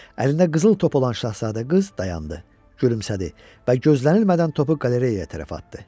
Əlində qızıl top olan Şahzadə qız dayandı, gülümsədi və gözlənilmədən topu qalereyaya tərəf atdı.